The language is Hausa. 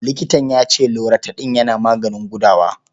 Likitan ya ce Loratadin yana maganin gudawa.